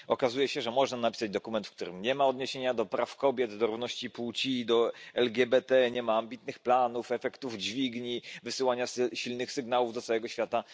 Okazuje się, że można napisać dokument, w którym nie ma odniesień do praw kobiet, równości płci, LGBT, nie ma ambitnych planów, efektów dźwigni, wysyłania silnych sygnałów do całego świata.